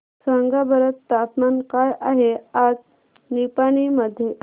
सांगा बरं तापमान काय आहे आज निपाणी मध्ये